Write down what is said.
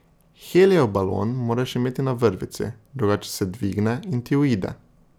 Helijev balon moraš imeti na vrvici, drugače se dvigne in ti uide.